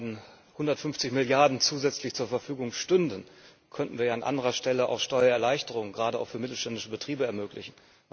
Wenn 150 Milliarden zusätzlich zur Verfügung stünden, könnten wir ja an anderer Stelle auch Steuererleichterungen gerade auch für mittelständische Betriebe ermöglichen.